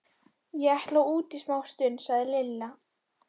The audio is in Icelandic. Ég ætla út í smástund, sagði Lilla.